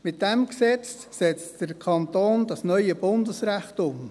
Mit diesem Gesetz setzt der Kanton das neue Bundesrecht um.